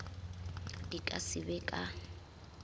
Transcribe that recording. di ka se be ka